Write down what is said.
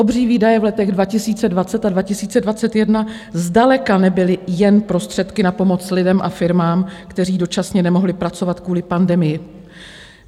Obří výdaje v letech 2020 a 2021 zdaleka nebyly jen prostředky na pomoc lidem a firmám, kteří dočasně nemohli pracovat kvůli pandemii.